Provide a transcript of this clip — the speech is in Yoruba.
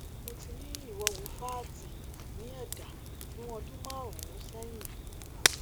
mo ti ní ìwọwù fátì ní ẹdá fún ọdún márùnún sẹyìn